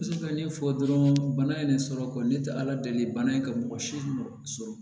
ka ɲɛfɔ dɔrɔn bana in de sɔrɔ ne tɛ ala deli bana in ye ka mɔgɔ si mɔgɔ sɔrɔ